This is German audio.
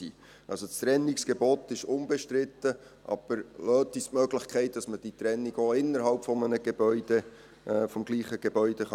Also: Das Trennungsgebot ist unbestritten, aber lassen Sie uns die Möglichkeit, dass man diese Trennung auch innerhalb eines Gebäudes machen kann.